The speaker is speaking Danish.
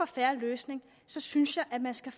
fair løsning synes jeg at man skal